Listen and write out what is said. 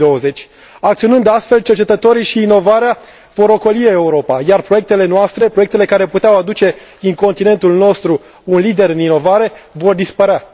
2020. Acționând astfel, cercetătorii și inovarea vor ocoli Europa, iar proiectele noastre, proiectele care puteau face din continentul nostru un lider în inovare, vor dispărea.